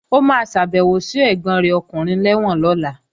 Ó máa ṣàbèwò sí arákùnrin rẹ̀ lẹ́wọ̀n lọ́la